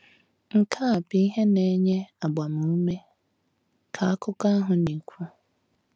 “ Nke a bụ ihe na-enye agbamume, ” ka akụkọ ahụ na - ekwu.